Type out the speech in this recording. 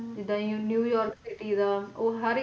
ਜਿੰਦਾ ਹੁਣ New York City ਦਾ ਓ ਹਰ ਇੱਕ